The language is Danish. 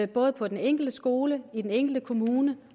både på den enkelte skole i den enkelte kommune